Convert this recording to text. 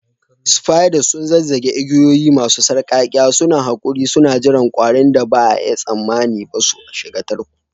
Spiders sun zazzage igiyoyi masu sarƙaƙƙiya, suna haƙuri suna jiran ƙwarin da ba a yi tsammani ba su shiga tarko